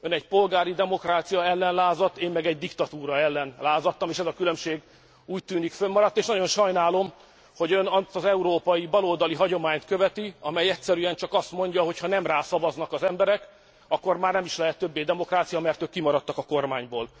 Ön egy polgári demokrácia ellen lázadt, én meg egy diktatúra ellen lázadtam, és ez a különbség, úgy tűnik, föntmaradt, és nagyon sajnálom, hogy ön azt az európai baloldali hagyományt követi, amely egyszerűen azt mondja, hogy ha nem rá szavaznak az emberek, akkor már nem is lehet többé demokrácia, mert ők kimaradtak a kormányból.